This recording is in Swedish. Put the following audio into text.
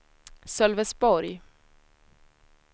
Sölvesborg